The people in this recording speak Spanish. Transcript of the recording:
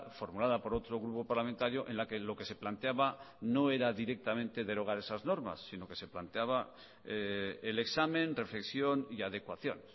formulada por otro grupo parlamentario en la que lo que se planteaba no era directamente derogar esas normas sino que se planteaba el examen reflexión y adecuación